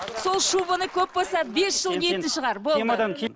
сол шубаны көп болса бес жыл киетін шығар болды